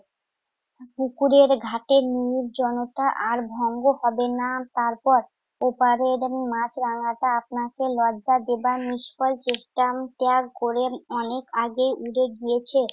পুকুরের ঘাটে নির্জনতা আর ভঙ্গ হবে না। তারপর ওপারের উম মাছরাঙাটা আপনাকে লজ্জা দেবার নিস্ফল চেষ্টা উম ত্যাগ করে অনেক আগেই উড়ে গিয়েছে।